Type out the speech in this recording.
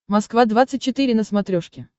москва двадцать четыре на смотрешке